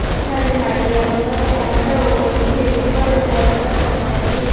ଏଠାରେ ନାଲିଆ କଲର ର କଣ ଗୋଟେ ଓହଳିଛି ଉପରେ ପରଦା ଟଣାହୋଇଛି।